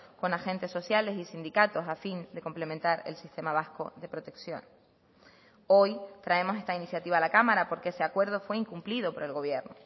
con agentes sociales y sindicatos a fin de complementar el sistema vasco de protección hoy traemos esta iniciativa a la cámara porque ese acuerdo fue incumplido por el gobierno